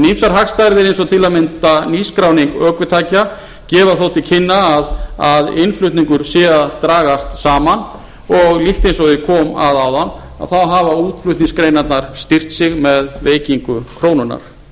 ýmsar hagstærðir eins og til að mynda nýskráning ökutækja gefa þó til kynna að innflutningur sé að dragast saman og líkt og ég kom að áðan hafa útflutningsgreinarnar styrkt sig með veikingu krónunnar mikið